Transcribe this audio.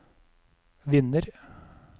vinner